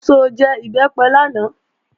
Ṣó jẹ Ìbẹ́pẹ lánàá?